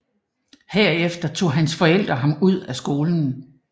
Herefter tog hans forældre ham ud af skolen